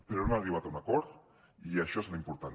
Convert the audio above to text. però hem arribat a un acord i això és l’important